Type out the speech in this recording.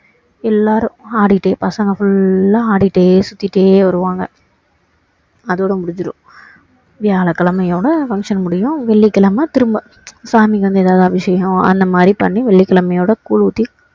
எல்லாரும் ஆடிட்டே பசங்க full லா ஆடிட்டே சுத்திட்டே வருவாங்க அதோட முடிஞ்சிடும் வியாழக்கிழமை யோட function முடியும் வெள்ளிக்கிழமை திரும்ப சாமிக்கி வந்து ஏதாவது அபிஷேகம் அந்த மாதிரி பண்ணி வெள்ளிக்கிழமையோட கூழு ஊத்தி